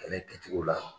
Ani bituw la